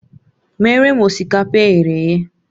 Meere m osikapa e ghere eghe!